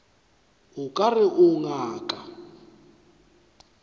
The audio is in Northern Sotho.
o ka re o ngaka